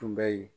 Tun bɛ yen